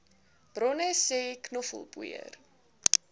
bronne sê knoffelpoeier